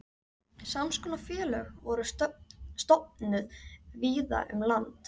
Sams konar félög voru stofnuð víða um land.